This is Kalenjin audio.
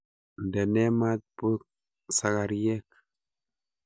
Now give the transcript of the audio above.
Ndenee maat busakaryeek.